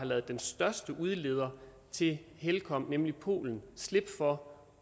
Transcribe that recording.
lod den største udleder til helcom nemlig polen slippe for